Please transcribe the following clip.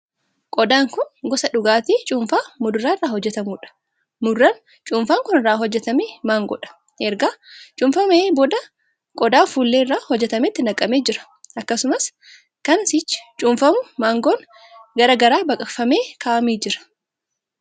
Kun gosa dhugaatii cuunfaa muduraa irraa hojjetamuudha. Muduraan cuunfaan kun irraa hojjetame mangoodha. Erga cuunfamee booda qodaa fuullee irraa hojjetametti naqamee jira. Akkasumas kan sichi cuunfamu margoon gargar baqaqfamee kaa'amee jira.